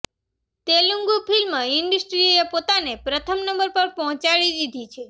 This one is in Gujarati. તેલુગૂ ફિલ્મ ઇન્ડસ્ટ્રીએ પોતાને પ્રથમ નંબર પર પહોંચાડી દીધી છે